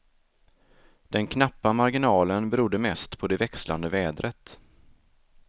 Den knappa marginalen berodde mest på det växlande vädret.